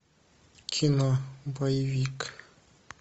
кино боевик